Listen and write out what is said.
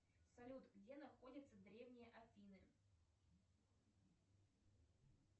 салют где находятся древние афины